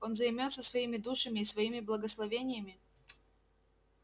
он займётся своими душами и своими благословениями